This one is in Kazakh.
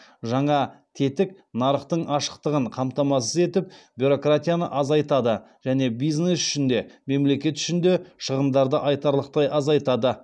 жаңа тетік нарықтың ашықтығын қамтамасыз етіп бюрократияны азайтады және бизнес үшін де мемлекет үшін де шығындарды айтарлықтай азайтады